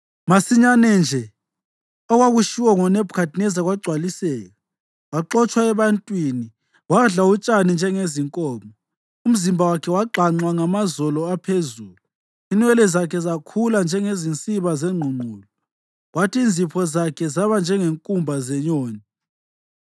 Masinyane nje okwakutshiwo ngoNebhukhadineza kwagcwaliseka. Waxotshwa ebantwini wadla utshani njengezinkomo. Umzimba wakhe wagxanxwa ngamazolo aphezulu, inwele zakhe zakhula njengezinsiba zengqungqulu, kwathi inzipho zakhe zaba njengenkumba zenyoni.